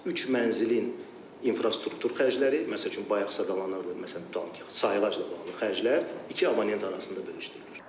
Üç mənzilin infrastruktur xərcləri, məsəl üçün bayaq sadalanırdı, məsələn tutaq ki, sayğacla bağlı xərclər iki abonent arasında bölüşdürülür.